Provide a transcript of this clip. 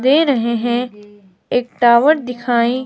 दे रहे हैं। एक दावत दिखाई--